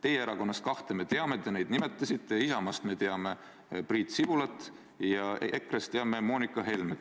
Teie erakonnast kahte me teame, te neid nimetasite, Isamaast me teame Priit Sibulat ja EKRE-st teame Moonika Helmet.